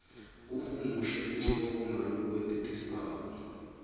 uhumushe sihloko ngalokwenetisako